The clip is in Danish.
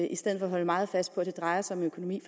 i stedet for at holde meget fast på at det drejer sig om økonomi